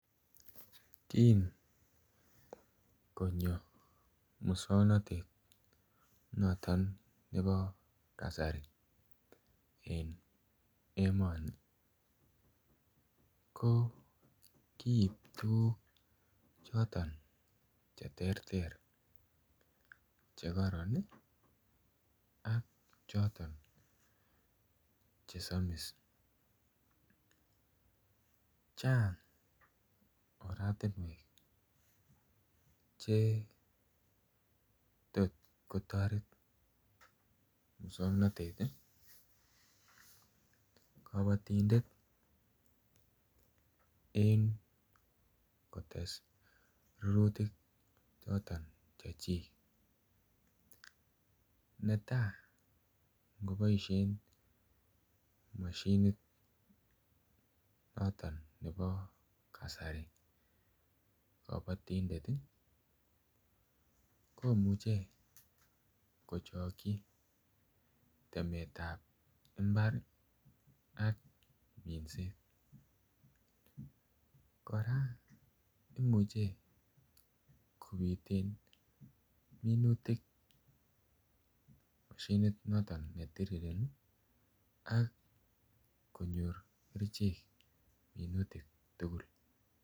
Kin konyo moswoknatet noton nebo kasari en emoni ko kiib tuguk choton Che terter Che karoron ak choton Che somis chang oratinwek Che tot kotoret moswoknatet kabatindet en kotes rurutik choton chechik netai angoboisien mashinit noton nebo kasari kabatindet komuche kochokyi temet ab mbar ak minset kora imuche kobiten mashinit noton ne tirireni ak konyor kerichek minutik tugul